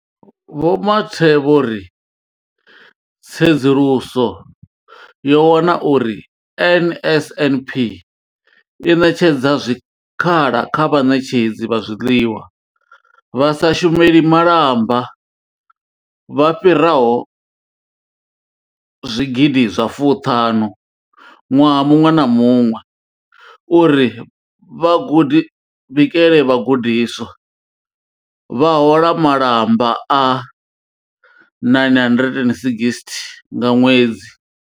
Vho Mathe vho ri tsedzuluso yo wana uri NSNP i ṋetshedza zwikhala kha vhaṋetshedzi vha zwiḽiwa vha sa shumeli malamba vha fhiraho zwigidi zwa fuṱhanu ṅwaha muṅwe na muṅwe uri vha bikele vhagudiswa, vha hola malamba a R960 nga ṅwedzi.